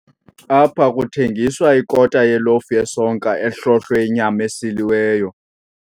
Apha kuthengiswa ikota yelofu yesonka ehlohlwe inyama esiliweyo.